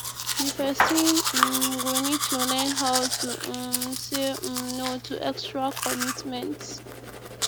di person um go need to learn how to um say um no to extra committment